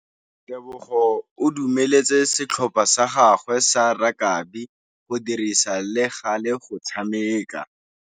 Tebogô o dumeletse setlhopha sa gagwe sa rakabi go dirisa le galê go tshameka.